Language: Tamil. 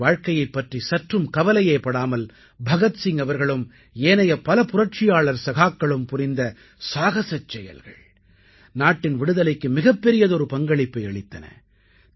தனது வாழ்க்கையைப் பற்றி சற்றும் கவலையேபடாமல் பகத்சிங் அவர்களும் ஏனைய பல புரட்சியாளர் சகாக்களும் புரிந்த சாகசச் செயல்கள் நாட்டின் விடுதலைக்கு மிகப்பெரியதொரு பங்களிப்பை அளித்தன